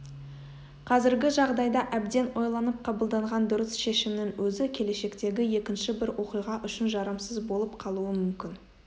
қазіргі жағдайда әбден ойланып қабылданған дұрыс шешімнің өзі келешектегі екінші бір оқиға үшін жарамсыз болып қалуы мүмкін